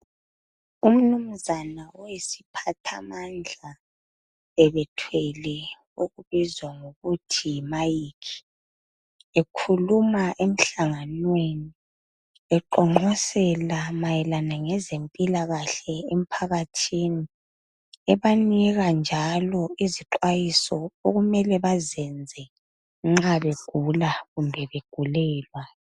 Umnumzana oyisiphathamandla ubethwele esikubiza ngokuthi yimic ekhuluma emhlanganweni eqonqosela mayelana ngezempilakahle emphakathini ebebanika njalo izixwayiso okumele bazenze nxa begula kumbe begulelwa.